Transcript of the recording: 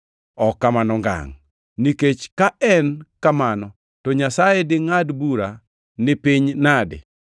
Ok kamano ngangʼ! Nikech ka en kamano, to Nyasaye dingʼad bura ni piny nade?